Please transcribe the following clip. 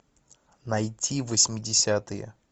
найти восьмидесятые